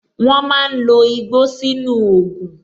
Wọn máa ń lo igbó sínú ògùn